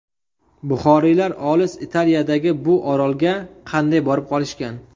Buxoriylar olis Italiyadagi bu orolga qanday borib qolishgan?